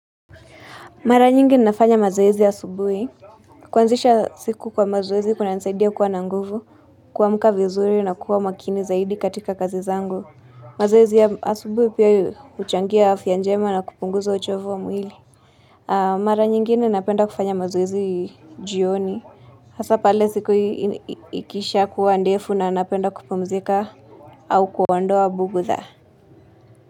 Mara nyingi ninafanya mazoezi asubuhi. Kwanzisha siku kwa mazoezi kuna nisaidia kuwa na nguvu, kuamka vizuri na kuwa makini zaidi katika kazi zangu. Mazoezi ya asubuhi pia huchangia afya njema na kupunguza uchovu wa mwili. Mara nyingine napenda kufanya mazoezi jioni. Hasa pale siku ikisha kuwa ndefu na napenda kupumzika au kuondoa bugudha.